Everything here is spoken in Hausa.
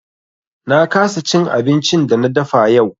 Na kasa cin abincin da na dafa yau.